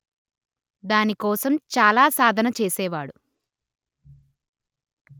దాని కోసం చాలా సాధన చేసేవాడు